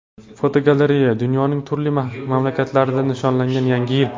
Fotogalereya: Dunyoning turli mamlakatlarida nishonlangan Yangi yil.